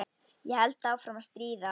Ég held áfram að stríða.